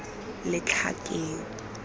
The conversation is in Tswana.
letlhakeng